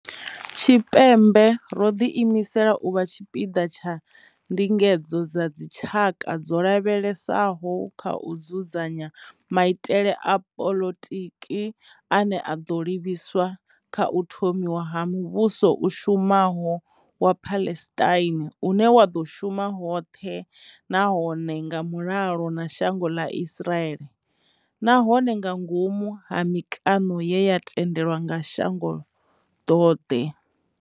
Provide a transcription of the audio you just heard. Tshipembe, ro ḓi imisela u vha tshipiḓa tsha ndingedzo dza dzi tshaka dzo lavhelesaho kha u dzudzanya maitele a poḽotiki ane a ḓo livhiswa kha u thomiwa ha muvhuso u shumaho wa Palestine une wa ḓo shuma hoṱhe nahone nga mulalo na shango ḽa Israel, nahone ngangomu ha mikano ye ya tendelwa nga shango ḓoḓhe.